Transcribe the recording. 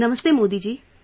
Namastey Modi ji